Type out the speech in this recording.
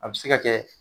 A bɛ se ka kɛ